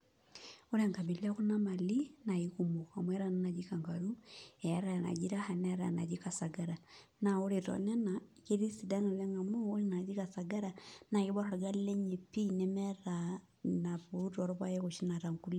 Ore enkabila ekuna mali na kekumok amu eetai enaji kangaru neetai anaji raha neetai anaji kasagara ore tenena ketii sidan amu ore ena naji kasagara nakibor orgali lenye pii nemeeta inenaput orpaek oshi naata nkulie.